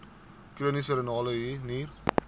chroniese renale nier